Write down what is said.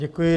Děkuji.